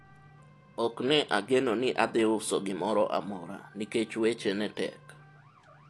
ok ne ageno ni adhi uso gimoro amora nikech weche ne tek